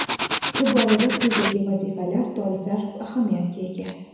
Bu borada quyidagi vazifalar dolzarb ahamiyatga ega.